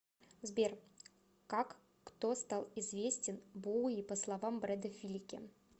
сбер как кто стал известен боуи по словам брэда филики